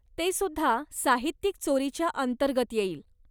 ते सुद्धा साहित्यिक चोरीच्या अंतर्गत येईल.